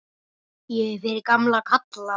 Ég er fyrir gamla kalla.